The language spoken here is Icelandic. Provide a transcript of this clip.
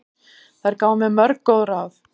Þær gáfu mér mörg góð ráð.